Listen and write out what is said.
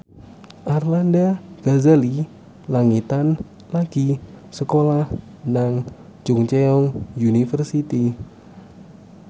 Arlanda Ghazali Langitan lagi sekolah nang Chungceong University